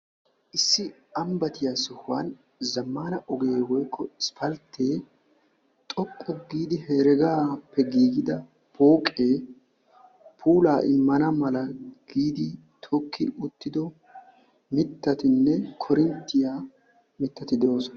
Issi ambbatiya sohuwan zammaana ogee woykko isppalttee xoqqu giidi heregaappe giigida pooqee puula immana mala giidi tokki uttido mittatinne korinttiya mittati de7oosona.